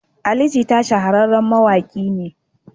Ali Jita shahararren mawaƙi ne.